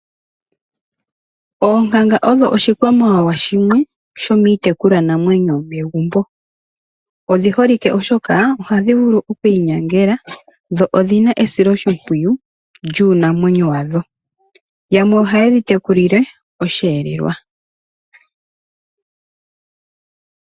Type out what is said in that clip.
Oonkanga odho oshikwamawawa shimwe shomiitekulwanamwenyo yomegumbo. Odhi holike oshoka; ohadhi vulu okwiinyangela dho odhina esiloshimpwiyu lyuunamwenyo wadho. Yamwe ohaye dhi tekulilile osheelelwa.